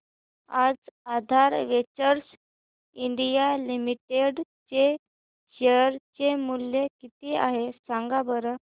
आज Aadhaar Ventures India Limited चे share चे मूल्य किती आहे सांगा बरं